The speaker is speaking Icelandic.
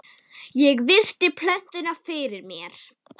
Ég virti plötuna fyrir mér.